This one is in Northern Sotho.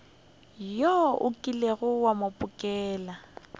wo o kilego wa mphokela